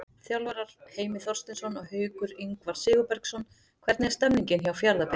Þjálfarar: Heimir Þorsteinsson og Haukur Ingvar Sigurbergsson Hvernig er stemningin hjá Fjarðabyggð?